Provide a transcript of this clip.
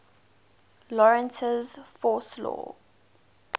lorentz force law